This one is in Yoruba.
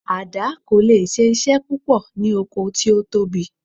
Àdá kò leè ṣe iṣẹ́ púpọ̀ ní oko tí ó tóbi